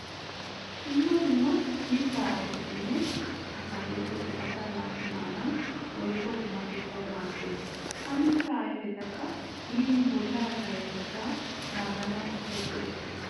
Dumma dumma mittaa ayifetinne ataakiltteti asaa naati maanawu woyikko qumatettawu maaddes. Ha mittaa ayifetikka min bollaa payyatettaa naaganawu asay go'ettes.